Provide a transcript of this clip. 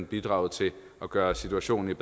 bidraget til at gøre situationen